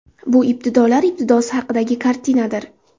Bu ibtidolar ibtidosi haqidagi kartinadir.